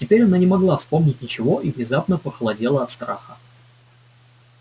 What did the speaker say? теперь она не могла вспомнить ничего и внезапно похолодела от страха